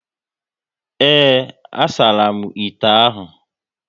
Ee, a saramu ite ahụ